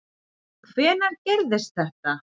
Hvenær gerðist þetta?